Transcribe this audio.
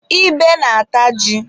Ebe na-ata ji.